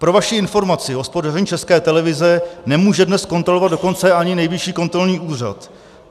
Pro vaši informaci, hospodaření České televize nemůže dnes kontrolovat dokonce ani Nejvyšší kontrolní úřad.